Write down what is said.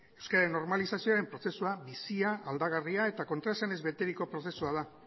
euskararen normalizazioaren prozesua bizia aldagarria eta kontraesanez beteriko prozesua da